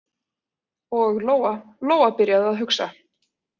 Og Lóa-Lóa byrjaði að hugsa.